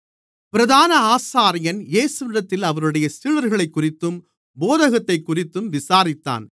பிரதான ஆசாரியன் இயேசுவினிடத்தில் அவருடைய சீடர்களைக்குறித்தும் போதகத்தைக்குறித்தும் விசாரித்தான்